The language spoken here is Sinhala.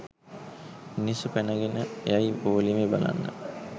මිනිස්සු පැනගෙන යයි පොලිමේ බලන්න